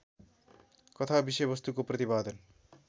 कथा विषयवस्तुको प्रतिपादन